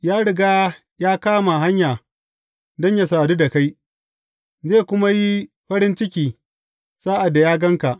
Ya riga ya kama hanya don yă sadu da kai, zai kuma yi farin ciki sa’ad da ya gan ka.